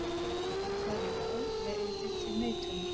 Svarið já leiðir til neitunar.